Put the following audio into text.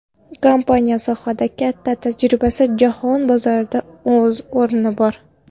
Kompaniyaning sohada katta tajribasi, jahon bozorida o‘z o‘rni bor.